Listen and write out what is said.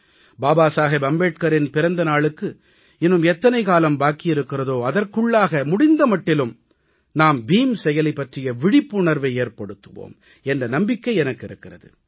பாபா சாஹிப் அம்பேத்கரின் பிறந்த நாளுக்கு இன்னும் எத்தனை காலம் பாக்கி இருக்கிற்தோ அதற்குள்ளாக முடிந்த மட்டிலும் நாம் பீம் செயலி பற்றிய விழிப்புணர்வை நாம் ஏற்படுத்துவோம் என்ற நம்பிக்கை எனக்கு இருக்கிறது